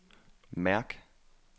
mærk